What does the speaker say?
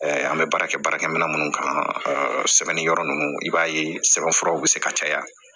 an bɛ baara kɛ baarakɛ minɛ minnu kama sɛbɛnniyɔrɔ ninnu i b'a ye sɛbɛnfuraw bɛ se ka caya